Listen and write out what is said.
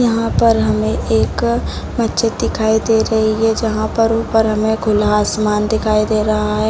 यहाँ पर हमें एक मस्जिद दिखाई दे रही है | जहाँ पर ऊपर हमें खुला आसमान दिखाई दे रहा है |